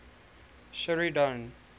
sheridan